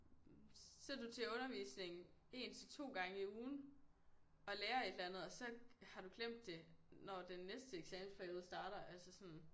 Så du til undervisning 1 til 2 gange i ugen og lærer et eller andet og så har du glemt det når den næste eksamensperiode starter altså sådan